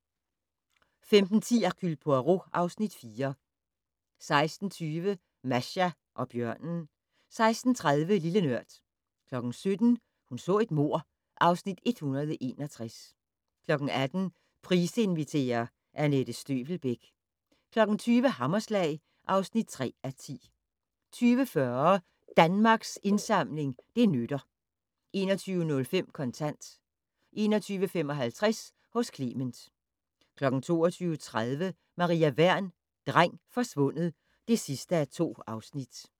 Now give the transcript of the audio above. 15:10: Hercule Poirot (Afs. 4) 16:20: Masha og bjørnen 16:30: Lille Nørd 17:00: Hun så et mord (Afs. 161) 18:00: Price inviterer - Anette Støvelbæk 20:00: Hammerslag (3:10) 20:40: Danmarks Indsamling - det nytter 21:05: Kontant 21:55: Hos Clement 22:30: Maria Wern: Dreng forsvundet (2:2)